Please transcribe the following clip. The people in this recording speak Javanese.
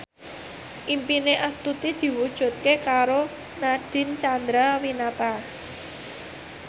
impine Astuti diwujudke karo Nadine Chandrawinata